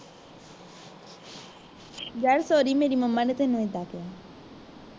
ਯਾਰ sorry ਮੇਰੇ momma ਨੇ ਤੈਨੂੰ ਏਡਾ ਕਿਹਾ